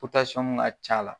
Pɔtasɔm ka c'a la.